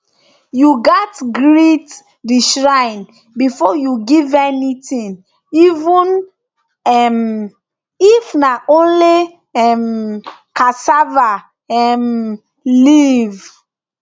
you gatz greet the shrine before you give anything even um if na only um cassava um leaf